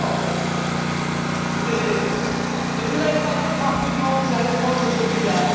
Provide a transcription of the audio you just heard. Mais n'avez vous pas d'autres arguments, sérieusement, que celui là?